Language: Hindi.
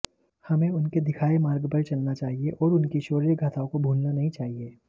हमें उनके दिखाए मार्ग पर चलना चाहिए और उनकी शौर्य गाथाओं को भूलना नहीं चाहिए